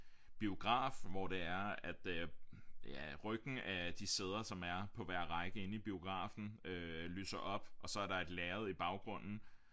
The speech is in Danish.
Biograf hvor det er at øh ja ryggen af de sæder som er på hver række inde i biografen lyser op og så er der et lærred i baggrunden